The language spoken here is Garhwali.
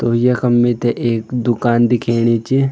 तो यखम मिथे एक दूकान दिखेणी च।